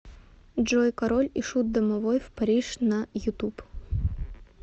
джой король и шут домой в париж на ютуб